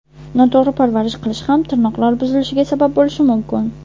Noto‘g‘ri parvarish qilish ham tirnoqlar buzilishiga sabab bo‘lishi mumkin.